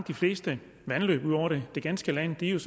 de fleste vandløb ud over det ganske land er